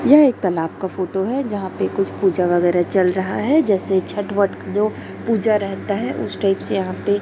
यह एक तलाब का फोटो है जहाँ पे कुछ पूजा वैगरा चल रहा है जैसे छठ वठ जो पूजा रहता है उस टाइप से यहाँ पे --